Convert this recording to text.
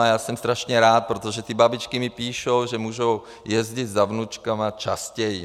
A já jsem strašně rád, protože ty babičky mi píšou, že mohou jezdit za vnučkami častěji.